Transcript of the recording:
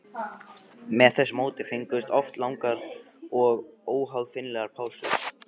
Með þessu móti fengust oft langar og óaðfinnanlegar pásur.